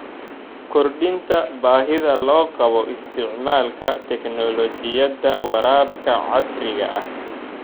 Kordhinta baahida loo qabo isticmaalka tignoolajiyada waraabka casriga ah.